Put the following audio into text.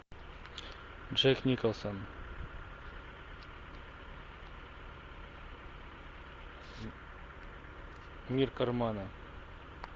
джек николсон мир кармана